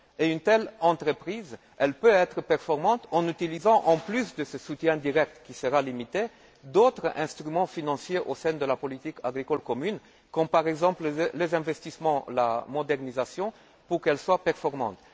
Une telle entreprise peut être performante en utilisant, en plus de ce soutien direct qui sera limité, d'autres instruments financiers de la politique agricole commune, comme par exemple les aides à l'investissement et la modernisation, pour qu'elles soient performantes.